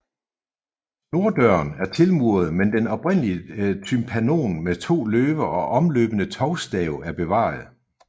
Norddøren er tilmuret men den oprindelige tympanon med to løver og omløbende tovstav er bevaret